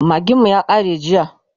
magin mu ya kare jiya